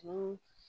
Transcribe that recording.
Ko